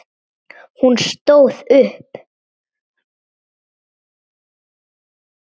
Hún stóð upp.